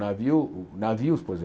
Navio navios, por exemplo.